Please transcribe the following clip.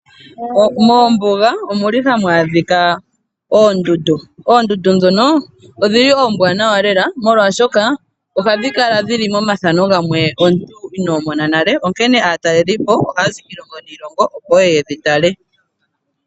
Moombuga ohamu adhika oondundu. Oondundu ndhoka oombwanawa lela, molwashoka ohadhi kala dhi li momathano gamwe ngoka omuntu inoo mona nale, onkene aatalelipo ohaya zi kiilongo niilongo, opo ye ye ye dhi tale.